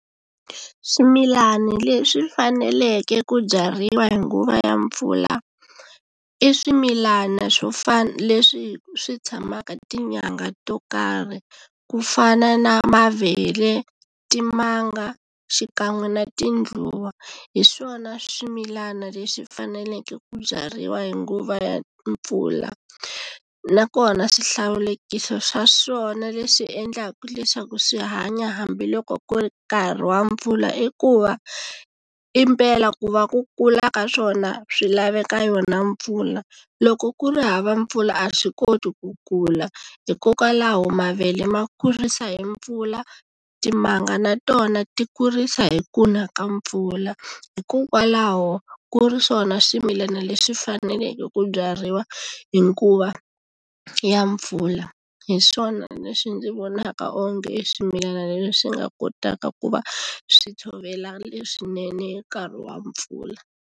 Swimilana leswi faneleke ku byariwa hi nguva ya mpfula i swimilana swo leswi swi tshamaka tinyangha to karhi ku fana na mavele timanga xikan'we na tindluwa hi swona swimilana leswi faneleke ku byariwa hi nguva ya mpfula nakona swihlawulekisi swa swona leswi endlaka leswaku swi hanya hambiloko ku ri nkarhi wa mpfula i ku va impela ku va ku kula ka swona swi laveka yona mpfula loko ku ri hava mpfula a swi koti ku kula hikokwalaho mavele ma kurisa hi mpfula timanga na tona ti kurisa hi kuna ka mpfula hikokwalaho ku ri swona swimilana leswi faneleke ku byariwa hi nguva ya mpfula hi swona leswi ndzi vonaka onge swimilana leswi nga kotaka ku va swi tshovela leswinene nkarhi wa mpfula.